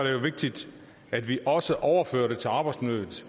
jo vigtigt at vi også overfører det til arbejdsmiljøet